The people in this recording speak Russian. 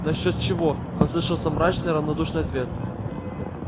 на счёт чего послышался мрачный равнодушный ответ